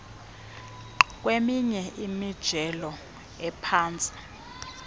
kweminye imijelo ephantsi